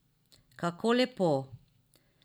Kako lepo.